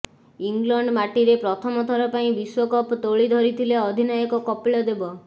England ମାଟିରେ ପ୍ରଥମ ଥର ପାଇଁ ବିଶ୍ୱକପ ତୋଳି ଧରିଥିଲେ ଅଧିନାୟକ କପିଳ ଦେବ